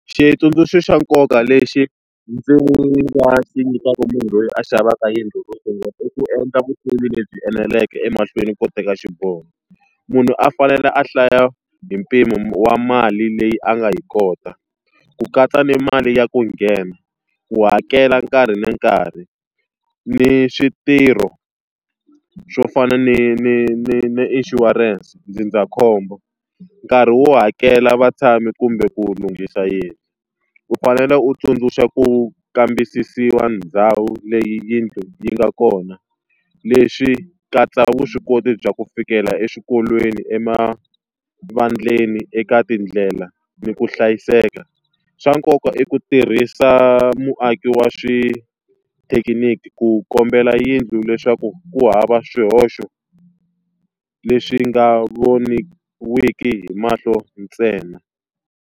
Xitsundzuxo xa nkoka lexi ndzi nga xi nyikaka munhu loyi a xavaka yindlu ro sungula i ku endla vutivi lebyi eneleke emahlweni ko teka xiboho. Munhu a fanele a hlaya hi mpimo wa mali leyi a nga yi kota, ku katsa ni mali ya ku nghena, ku hakela nkarhi ni nkarhi, ni switirho swo fana ni ni ni ni insurance ndzindzakhombo, nkarhi wo hakela vatshami kumbe ku lunghisa yindlu. U fanele u tsundzuxa ku kambisisiwa ndhawu leyi yindlu yi nga kona, leswi katsa vuswikoti bya ku fikela eswikolweni, emavaleni, eka tindlela, ni ku hlayiseka. Swa nkoka i ku tirhisa muaki wa swithekiniki ku kambela yindlu leswaku ku hava swihoxo leswi nga voniweki hi mahlo ntsena.